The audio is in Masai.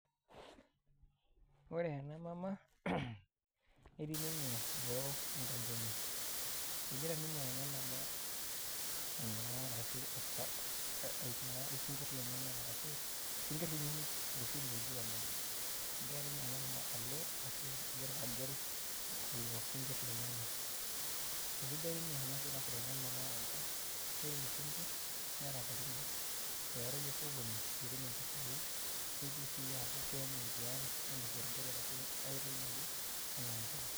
ore ena mama netii ninye boo enkaji enye, egira ninye ena mama aing'uraa arashu aipa ainguraa isinkir lenyanak arashu isinkir kunyinyik iloshi looji omena, egira ninye ena mama alo, egira agel lelo sinkir lenyenak. aisidai ninye ena siai naasiata ena mama amu, ore nera katitin are, eyarayu osokoni, pee itum impisai, nigil sii aku kenyae tiang' ainosiie orgali arashu aetoki ake anaa mpuka.